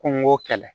Ko n ko kɛlɛ